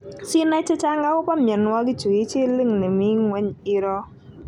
sinai chechang agopo mionwogichu i chill link ini mi ngwony irou.